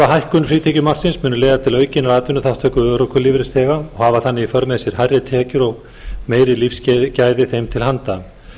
hækkun frítekjumarksins muni leiða til aukinnar atvinnuþátttöku örorkulífeyrisþega og hafa þannig í för með sér hærri tekjur og meiri lífsgæði þeim til handa